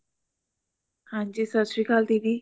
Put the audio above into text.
ਹਾਂਜੀ ਸਤਿ ਸ਼੍ਰੀ ਅਕਾਲ ਦੀਦੀ